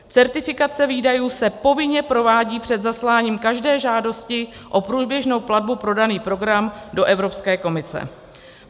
Certifikace výdajů se povinně provádí před zasláním každé žádosti o průběžnou platbu pro daný program do Evropské komise.